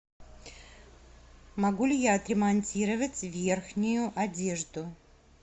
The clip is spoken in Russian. могу ли я отремонтировать верхнюю одежду